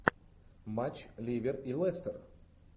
матч ливер и лестер